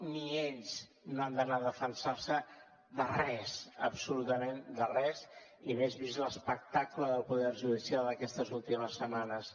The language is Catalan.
ni ells no han d’anar a defensar se de res absolutament de res i més vist l’espectacle del poder judicial aquestes últimes setmanes